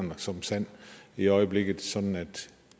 i øjeblikket sådan at